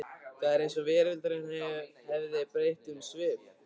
Það var eins og veröldin hefði breytt um svip.